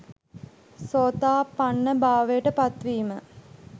සෝතාපන්න භාවයට පත්වීම.